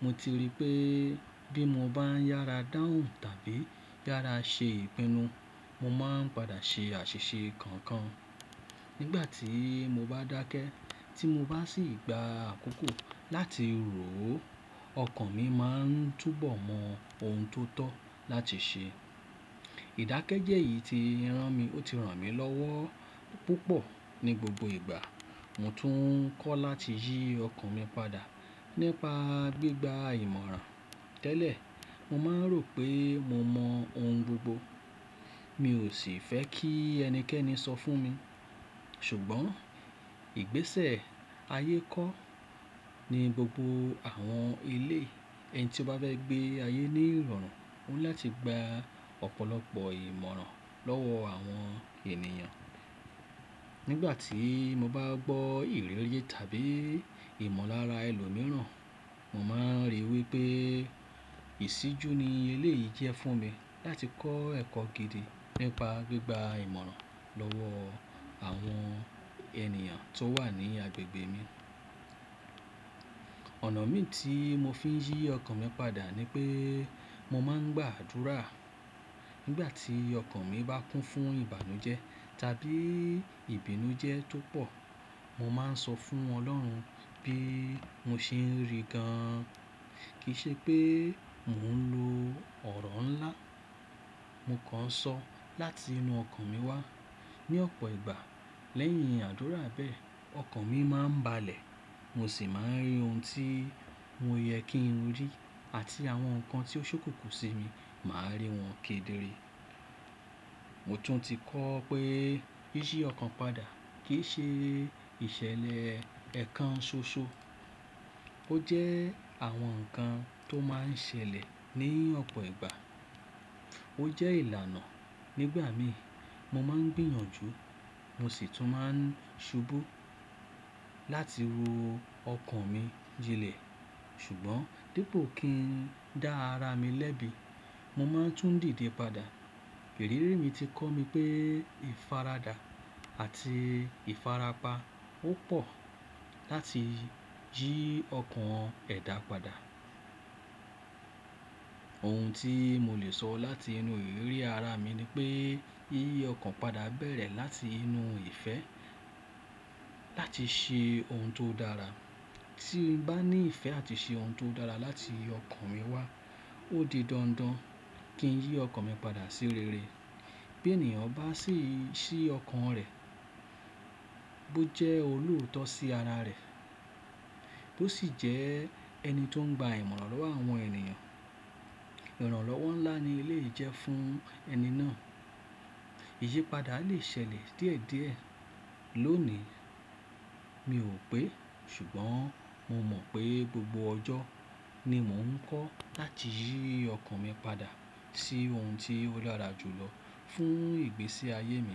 Mo ti rí pé bí mo bá ń yára dáhùn tàbí yára ṣe ìpinnu, mo máa ń padà ṣe àṣìṣe kankan. Nígbà tí mo bá dákẹ́ tí mo bá sì gba àkókò láti rò ó, ọkàn mi máa ń túbọ̀ mọ ohun tó tọ́ láti ṣe. Ìdákẹ́jẹ́ yìí ti rán mi, ó ti ràn mí lọ́wọ́ púpọ̀ ní gbogbo ìgbà mo tún ń kọ́ láti yí ọkàn mi padà nípa gbígba ìmọ̀ràn. Tẹ́lẹ̀, mo máa ń rò pé mo mọ ohun gbogbo. Mi ò sì fẹ́ kí ẹnikẹ́ni sọ fún mi. Ṣùgbọ́n ìgbésẹ̀ ayé kọ́ ni gbogbo àwọn ilé ẹni tí ó bá fẹ́ gbé ayé ní ìrọ̀rùn ó ní láti gba ọ̀pọ̀lọpọ̀ ìmọ̀ràn lọ́wọ́ àwọn ènìyàn. Nígbà tí mo bá gbọ́ ìrírí tàbí ìmọ̀lára ẹlòmíràn, mo máa ń rí i wí pé ìṣíjú ni ilé yìí jẹ́ fún mi láti kọ́ ẹ̀kọ́ gidi nípa gbígba ìmọ̀ràn lọ́wọ́ àwọn ènìyàn tó wà ní agbègbè mi. Ọ̀nà òmíì tí mo fi ń yí ọkàn mi padà ni pé mo máa ń gbàdúrà nígbà tí ọkàn mi bá kún fún ìbànújẹ́ tàbí ìbínújẹ́ tó pọ̀. Mo máa ń sọ fún Ọlọ́run bí mo ṣe ń rí gan-an. Kì í ṣe pé mò ń lo ọ̀rọ̀ ńlá. Mo kàn ń sọ láti inú ọkàn mi wá. Ni ọ̀pọ̀ ìgbà, lẹ́yìn àdúrà bẹ́ẹ̀, ọkàn mi máa ń balẹ̀ mo sì máa ń rí ohun tí mo yẹ kí n rí àti àwọn nǹkan tí ó ṣókòkò sí mi, màá rí wọn kedere. Mo tún ti kọ́ pé yíyí ọkàn padà kì í ṣe ìṣẹ̀lẹ̀ ẹ̀kan ṣoṣo. Ó jẹ́ àwọn nǹkan tó máa ń ṣẹlẹ̀ ní ọ̀pọ̀ ìgbà. Ó jẹ́ ìlànà. Nígbà mí, mo máa ń gbìyànjú mo sì tún máa ń ṣubú láti ro ọkàn mi jinlẹ̀. Ṣùgbọ́n dépòo kí n dá ara mi lẹ́bi, mo máa ń tún dìde padà. Ìrírí mi ti kọ́ mi pé ìfaradà àti ìfarapa ó pọ̀ láti yí ọkàn ẹ̀dá padà. Ohun tí mo lè sọ láti inú ìrírí ara mi ni pé yíyí ọkàn padà bẹ̀rẹ̀ láti inú ìfẹ́ láti ṣe ohun tó dára. Tí mo bá ní ìfẹ́ àti ṣe ohun tó dára láti inú ọkàn mi wá, ó di dandan kí n yí ọkàn mi padà sí rere. Bí ènìyàn bá ṣìí ṣí ọkàn rẹ̀ bó jẹ́ olóòótọ́ sí ara rẹ̀ bó sì jẹ́ ẹni tó ń gba ìmọ̀ràn lọ́wọ́ àwọn ènìyàn, ìrànlọ́wọ́ ńlá ni eléyìí jẹ́ fún ẹni náà. Iyipada lè ṣẹlẹ̀ díẹ̀díẹ̀. Lónìí, mi ò pé ṣùgbọ́n mo mọ̀ pé gbogbo ọjọ́ ni mò ń kọ́ láti yí ọkàn mi padà sí ohun tí ó dára jù lọ fún ìgbésí ayé mi.